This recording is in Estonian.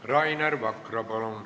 Rainer Vakra, palun!